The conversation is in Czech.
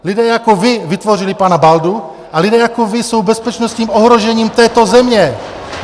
Lidé jako vy vytvořili pana Baldu a lidé jako vy jsou bezpečnostním ohrožením této země!